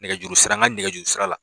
Nɛgɛjurusira n ka nɛgɛjurusira la.